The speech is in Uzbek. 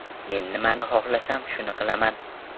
Men nimani xohlasam, shuni qilaman.